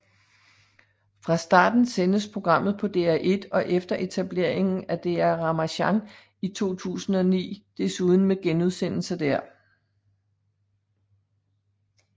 Fra starten sendtes programmet på DR1 og efter etableringen af DR Ramasjang i 2009 desuden med genudsendelser der